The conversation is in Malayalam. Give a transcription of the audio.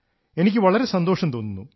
എനിക്ക് വളരെ സന്തോഷം തോന്നുന്നു